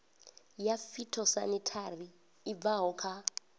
ya phytosanitary i bvaho kha